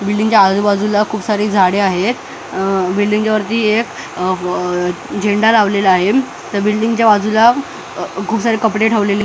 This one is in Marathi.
बिल्डींगच्या आजूबाजूला खूप सारे झाडं आहेत अ बिल्डींगच्या वरती एक अ अ झेंडा लावलेला आहे त्या बिल्डींगच्या बाजूला अ खूप सारे कपडे ठेवलेले --